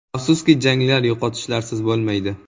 “Afsuski janglar yo‘qotishlarsiz bo‘lmaydi.